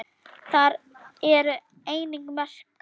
Þar eru einnig merkar